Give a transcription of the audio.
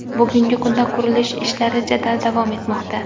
Bugungi kunda qurilish ishlari jadal davom etmoqda.